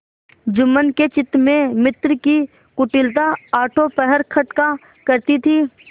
जुम्मन के चित्त में मित्र की कुटिलता आठों पहर खटका करती थी